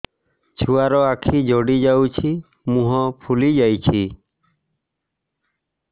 ଛୁଆର ଆଖି ଜଡ଼ି ଯାଉଛି ମୁହଁ ଫୁଲି ଯାଇଛି